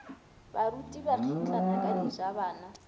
baruti ba kgitlana ka dijabana